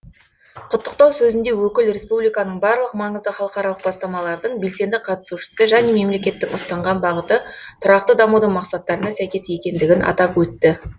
құттықтау сөзінде өкіл республиканың барлық маңызды халықаралық бастамалардың белсенді қатысушысы және мемлекеттің ұстанған бағыты тұрақты дамудың мақсаттарына сәйкес екендігін атап өтті